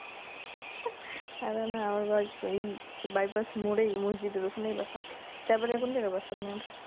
আরে না আমার বা এই Bypass more এই মসজিদ এর ওখানেই বাসা তারপরে কোনজায়গায় বাসা আপনের